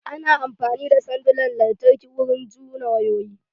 Ana amfani da sandunan lantarki wurin juna wayoyin lantarki